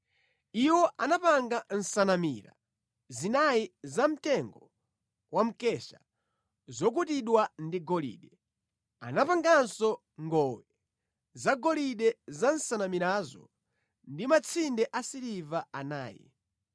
Iwo anapanga nsanamira zinayi zamtengo wa mkesha zokutidwa ndi golide. Anapanganso ngowe zagolide za nsanamirazo ndi matsinde asiliva anayi.